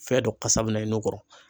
Fɛn dɔ kasa bɛ na i n'u kɔrɔ.